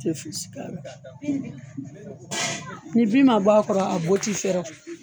Te fosi k'ala nin bin ma bɔ a kɔrɔ a bɔ t'i fɛrɛ o